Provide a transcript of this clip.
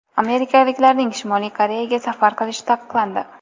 Amerikaliklarning Shimoliy Koreyaga safar qilishi taqiqlandi.